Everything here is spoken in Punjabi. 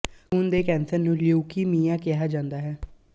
ਖੂਨ ਦੇ ਕੈਂਸਰ ਨੂੰ ਲਿਊਕੀਮੀਆ ਕਿਹਾ ਜਾਂਦਾ ਹੈ